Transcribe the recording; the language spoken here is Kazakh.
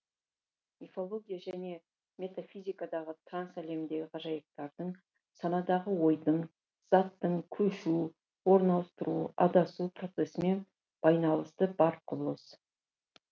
мифология және метафизикадағы транс әлемдегі ғажайыптардың санадағы ойдың заттың көшу орын ауыстыру адасу процесімен байналысы бар құбылыс